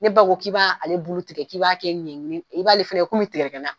Ne ba k'i b'ale bulu tigɛ k'i b'a kɛ i b'ale fɛnɛ komi tigɛdigɛ na.